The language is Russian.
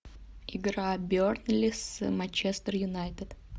игра бернли с манчестер юнайтед